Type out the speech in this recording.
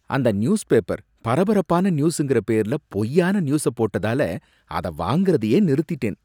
அந்த news paper பரபரப்பான நியூஸுங்கற பேர்ல பொய்யான நியூஸ போட்டதால அத வாங்கறதையே நிறுத்திட்டேன்.